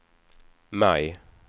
maj